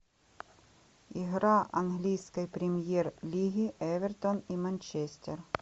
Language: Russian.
игра английской премьер лиги эвертон и манчестер